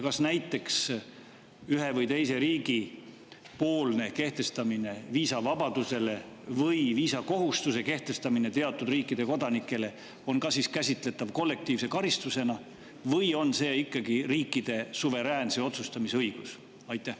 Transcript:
Kas näiteks ühes või teises riigis viisavabaduse või viisakohustuse kehtestamine teatud riikide kodanikele on ka käsitletav kollektiivse karistusena või on see ikkagi riikide suveräänse otsustamise õigus?